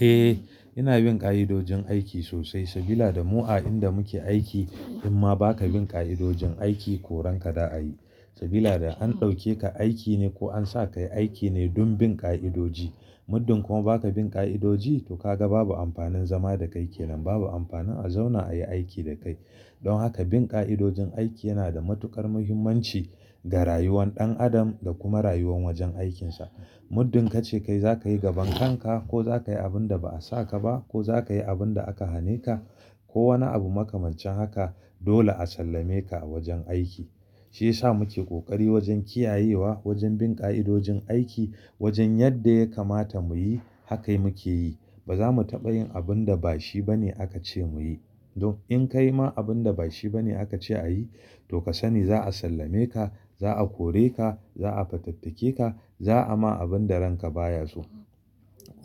Eh, ina bin ƙa'idojin aiki sosai sabida da mu a inda muke aiki in ma ba ka bin ƙa'idojin aiki koren ka da a yi. Sabida an ɗauke ka aiki ne ko an sa ka yi aiki ne don bin ƙa'idoji. Muddin kuma ba ka bin ƙa'idoji to ka ga babu amfanin zama da kai kenan, babu amfanin a zauna a yi aiki da kai. Don haka bin ƙa'idojin aiki yana da matuƙar muhimmanci ga rayuwar ɗan adam da kuma rayuwar wajen aikinsa. Muddin ka ce kai za ka yi gabankan ka ko za ka yi abin da ba a sa ka ba ko za ka yi abin da aka hane ka ko wani abu makamancin haka dole a sallame ka a wajen aiki. Shi ya sa muke ƙoƙari wajen kiyayewa, wajen bin ƙa'idojin aiki, wajen yadda ya kamata mu yi haka muke yi. Ba za mu taɓa yin abin da ba shi ba ne aka ce mu yi. Don in ka yi ma abin da ba shi ba ne aka ce a yi to ka sani za a sallame ka, za a kore ka, za a fatattake ka, za a ma abin da ranka baya su.